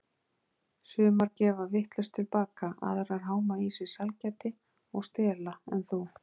Sumar gefa vitlaust tilbaka, aðrar háma í sig sælgæti og stela en þú.